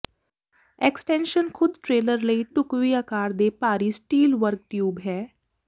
extension ਖੁਦ trailer ਲਈ ਢੁਕਵੀਂ ਆਕਾਰ ਦੇ ਭਾਰੀ ਸਟੀਲ ਵਰਗ ਟਿਊਬ ਹੈ